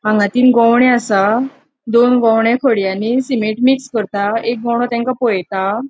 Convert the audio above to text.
हांगा तीन गोवणे असा दोन गोवणे सीमेट मिक्स करता एक गोवणो तांका पोळेता.